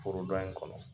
Foro dɔ in kɔnɔ